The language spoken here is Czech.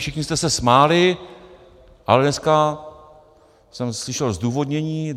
Všichni jste se smáli, ale dneska jsem slyšel zdůvodnění.